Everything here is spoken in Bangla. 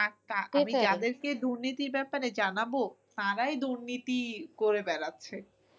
আমি যাদের কে দুর্নীতির ব্যাপারে জানাবো তারাই দুর্নীতি করে বেড়াচ্ছে।